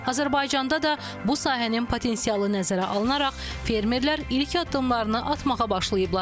Azərbaycanda da bu sahənin potensialı nəzərə alınaraq fermerlər ilk addımlarını atmağa başlayıblar.